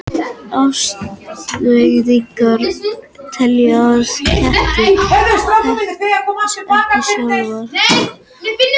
Atferlisfræðingar telja að kettir þekki ekki sjálfa sig af spegilmyndinni.